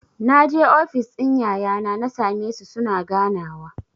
Naje ofis ɗin yayana na sa me su suna ganawa.